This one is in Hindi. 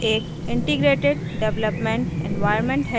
eclipse एक integrated development environment है